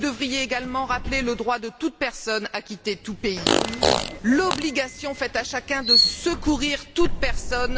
Vous devriez également rappeler le droit de toute personne à quitter tout pays, l'obligation faite à chacun de secourir toute personne.